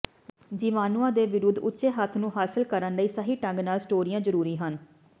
ਜੀਵਾਣੂਆਂ ਦੇ ਵਿਰੁੱਧ ਉੱਚੇ ਹੱਥਾਂ ਨੂੰ ਹਾਸਲ ਕਰਨ ਲਈ ਸਹੀ ਢੰਗ ਨਾਲ ਸਟੋਰੀਆਂ ਜ਼ਰੂਰੀ ਹਨ